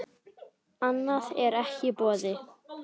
Annað er ekki í boði.